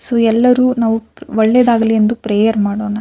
So ಎಲ್ಲರು ನಾವು ಒಳ್ಳೆದಾಗಲಿ ಎಂದು ಪ್ರೇಯರ್ ಮಾಡೋಣ.